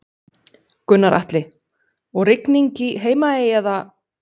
Gunnar Atli: Og rigning í Heimaey eða?